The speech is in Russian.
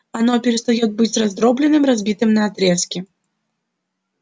оно перестаёт быть раздроблённым разбитым на отрезки